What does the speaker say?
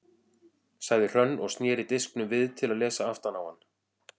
sagði Hrönn og sneri disknum við til að lesa aftan á hann.